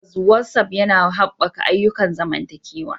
Tabbas, WhatsApp yana haɓaka ayyukan zamantakewa.